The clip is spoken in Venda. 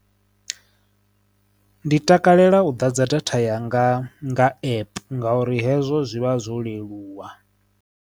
Ndi takalela u ḓadza datha yanga nga app nga uri hezwo zwi vha zwo leluwa.